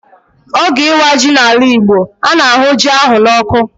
Oge ịwa ji n'ala Igbo, a na-ahụ ji ahụ n'ọkụ.